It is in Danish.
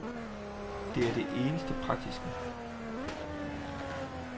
Det er det eneste praktiske.